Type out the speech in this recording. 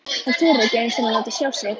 Hann þorir ekki einu sinni að láta sjá sig!